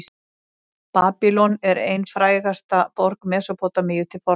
babýlon er ein frægasta borg mesópótamíu til forna